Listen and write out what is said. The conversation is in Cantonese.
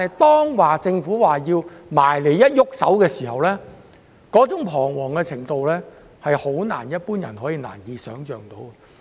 當政府表示要清拆他們的寮屋時，他們彷徨的程度實在是非一般人所能想象的。